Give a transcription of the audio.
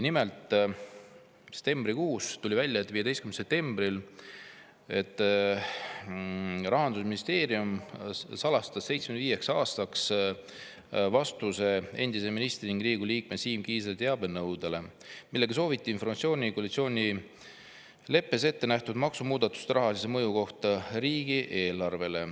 Nimelt, septembrikuus, 15. septembril, tuli välja, et Rahandusministeerium salastas 75 aastaks vastuse endise ministri ning Riigikogu liikme Siim Kiisleri teabenõudele, milles ta soovis informatsiooni koalitsioonileppes ettenähtud maksumuudatuste rahalise mõju kohta riigieelarvele.